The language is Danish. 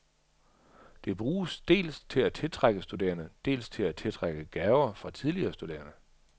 Det bruges dels til at tiltrække studerende, dels til at tiltrække gaver fra tidligere studerende.